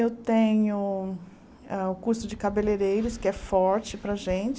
Eu tenho o curso de cabeleireiros, que é forte para a gente.